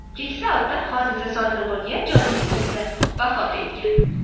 Keksa ota hodisa sodir bo‘lgan joyning o‘zida vafot etgan.